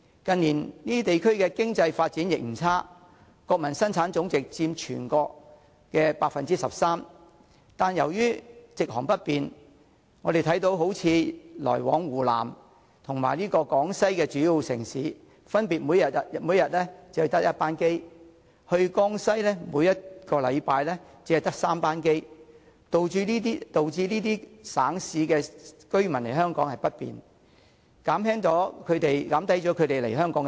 近年這些地區的經濟發展不差，國民生產總值佔全國 13%， 只是由於直航不便，例如香港每天只有1班客機分別來往湖南和廣西的主要城市，每星期只有3班客機前往江西，導致這些省市的居民想來香港也不方便，減低了他們前來香港的意欲。